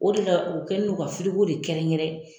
O de la u kɛlen don ka de kɛrɛnkɛrɛn